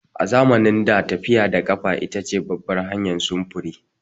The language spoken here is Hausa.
A zamanin da, tafiya da ƙafa ita ce babbar hanyar sufuri.